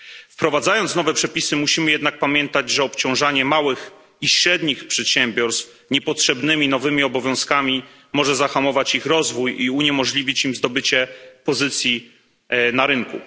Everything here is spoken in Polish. Wprowadzając nowe przepisy, musimy jednak pamiętać, że obciążanie małych i średnich przedsiębiorstw niepotrzebnymi nowymi obowiązkami może zahamować ich rozwój i uniemożliwić im zdobycie pozycji na rynku.